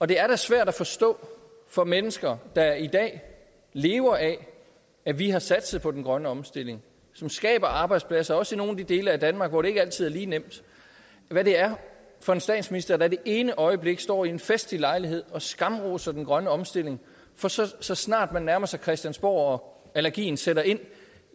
det er da svært at forstå for mennesker der i dag lever af at vi har satset på den grønne omstilling som skaber arbejdspladser også i nogle af de dele af danmark hvor det ikke altid er lige nemt hvad det er for en statsminister der det ene øjeblik står ved en festlig lejlighed og skamroser den grønne omstilling for så så snart man nærmer sig christiansborg og allergien sætter ind